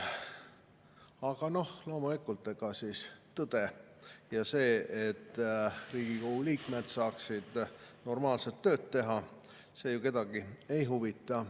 Aga loomulikult, ega siis tõde ja see, et Riigikogu liikmed saaksid normaalselt tööd teha, ju kedagi ei huvita.